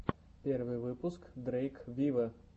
первый выпуск дрейк виво